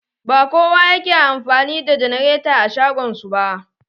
Ba kowa yake amfani da janareta a shagon su ba.